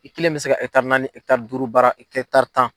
I kelen bɛ se naani duuru baara tan.